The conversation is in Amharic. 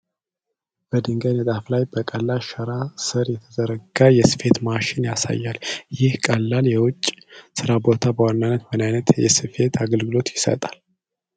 በድንጋይ ንጣፍ ላይ፣ በቀላል ሸራ ስር የተዘረጋ የስፌት ማሽን ያሳያል። ይህ ቀላል የውጪ ስራ ቦታ በዋናነት ምን ዓይነት የስፌት አገልግሎት ይሰጣል?